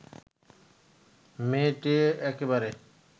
মেয়ে-টেয়ে একেবারে